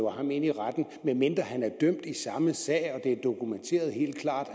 ham i retten medmindre han er dømt i samme sag og det er dokumenteret helt klart at